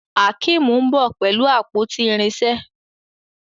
Akeem nbọ pẹlú àpótí irinṣẹ́